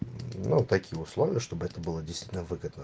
ну такие условия чтобы это было действительно выгодно